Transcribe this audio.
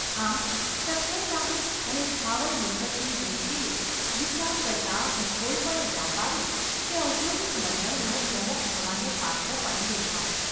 આમ સદ્ધરતાની અને સ્થાવર મિલકતની દૃષ્ટિએ વિચાર કરતાં હું કોઈ પણ વ્યાપારી કે ઔદ્યોગિક મંડળનો પ્રમુખ થવાને પાત્ર પણ લેખાઉં.